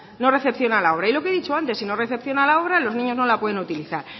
no recepciona la obra y lo que he dicho antes si no recepciona la obra los niños no la pueden utilizar